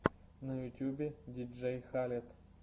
на ютубе диджей халед